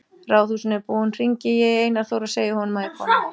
Ráðhúsinu er búin hringi ég í Einar Þór og segi honum að ég komi.